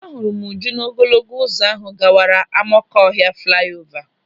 Ahụrụ m Uju n'ogologo ụzọ ahụ gawara Amakọhịa flaiova.